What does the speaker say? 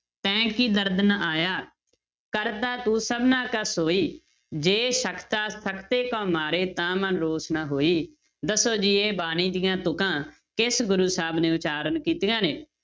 ਤੈਂ ਕੀ ਦਰਦੁ ਨ ਆਇਆ, ਕਰਤਾ ਤੂੰ ਸਭਨਾ ਕਾ ਸੋਈ, ਜੇ ਸਕਤਾ ਸਕਤੇ ਕਉ ਮਾਰੇ ਤਾ ਮਨਿ ਰੋਸੁ ਨ ਹੋਈ, ਦੱਸੋ ਜੀ ਇਹ ਬਾਣੀ ਦੀਆਂ ਤੁੱਕਾਂ ਕਿਸ ਗੁਰੂ ਸਾਹਿਬ ਨੇ ਉਚਾਰਨ ਕੀਤੀਆਂ ਨੇ?